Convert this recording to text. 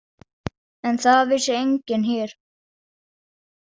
En það vissi enginn hér.